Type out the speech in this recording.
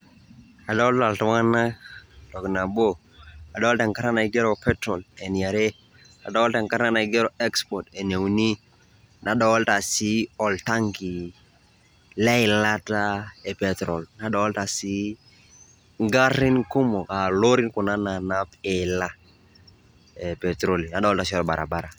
Adolita iltung'ana ntoki naboo. Adolita enkairana naigeroo petrol enia are. Adolita enkairana naigeroo export enia uni. Nadolita si oltanki le laitaa e petrol .Nadolita sii gariin kumook a lorii kun nainaap elaa e petiroli. Adolita si o barabara.